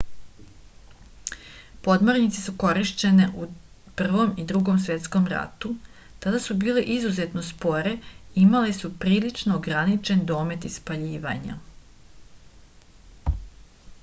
podmornice su korišćene u prvom i drugom svetskom ratu tada su bile izuzetno spore i imale su prilično ograničen domet ispaljivanja